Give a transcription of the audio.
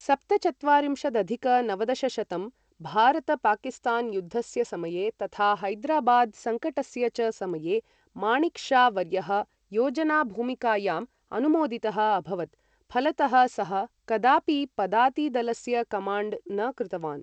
सप्तचत्वारिंशदधिक नवदशशतं भारत पाकिस्तान युद्धस्य समये तथा हैदराबाद् सङ्कटस्य च समये माणिक् शा वर्यः योजना भूमिकायाम् अनुमोदितः अभवत्, फलतः सः कदापि पदाति दलस्य कमाण्ड् न कृतवान्।